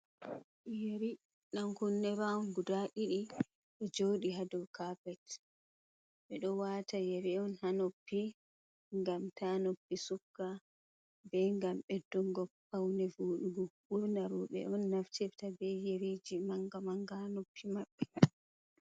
Yeri ɗankune raaun guda ɗiɗi, do joodi hadau kaatene. Be do wata yeri on haa noppi ngam ta noppi sukka. be gam bedduggo paune voɗugo. burnafu robe on naftirta be yereji manga manga ha noppi mabbe.